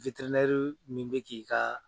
min bɛ k'i ka